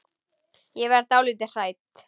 Ég verð dálítið hrædd.